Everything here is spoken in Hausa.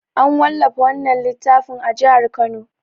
An wallafa wannan littafin a jihar Kano.